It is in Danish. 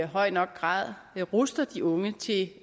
høj nok grad ruster de unge til